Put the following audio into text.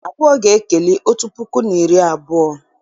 Abụọ ga-ekeli otu puku na iri abụọ